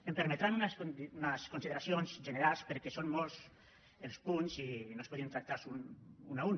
em permetran unes consideracions generals perquè són molts els punts i no es podien tractar un a un